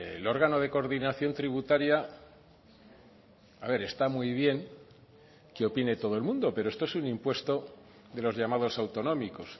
el órgano de coordinación tributaria a ver está muy bien que opine todo el mundo pero esto es un impuesto de los llamados autonómicos